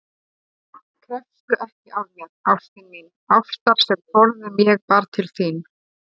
Krefstu ekki af mér, ástin mín, ástar sem forðum ég bar til þín.